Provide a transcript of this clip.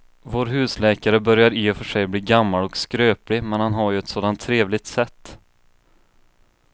Vår husläkare börjar i och för sig bli gammal och skröplig, men han har ju ett sådant trevligt sätt!